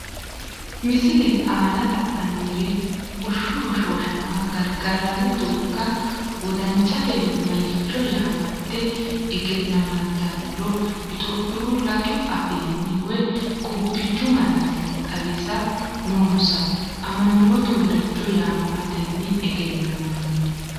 Misile aana la’nannire bushshu hoshooshama gargarranni doogga wodanchatenni maricho yaamante egennammantannoro Itophiyu laatu afiinni woy qubbichu malaatinni xawisse, nonsa amanyooti maricho yaamamatenni egennamanno?